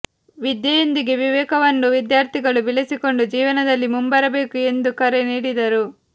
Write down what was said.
ವಿದ್ಯೆಯೊಂದಿಗೆ ವಿವೇಕವನ್ನೂ ವಿದ್ಯಾರ್ಥಿಗಳು ಬೆಳೆಸಿಕೊಂಡು ಜೀವನದಲ್ಲಿ ಮುಂಬರಬೇಕು ಎಂದು ಕರೆ ನೀಡಿದರು